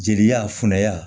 Jeliya funuya